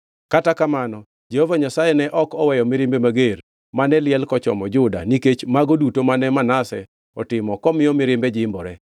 Kata Kamano, Jehova Nyasaye ne ok oweyo mirimbe mager, mane liel kochomo Juda nikech mago duto mane Manase otimo komiyo mirimbe jimbore.